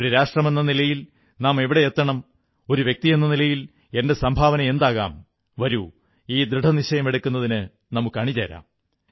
ഒരു രാഷ്ട്രമെന്ന നിലയിൽ നാം എവിടെയെത്തണം ഒരു വ്യക്തിയെന്ന നിലയിൽ എന്റെ സംഭാവന എന്താകാം വരൂ ഈ ദൃഢനിശ്ചയമെടുക്കുന്നതിന് നമുക്കണിചേരാം